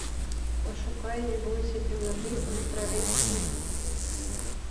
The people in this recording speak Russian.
пошукай не бойся темноты ультра эйч ди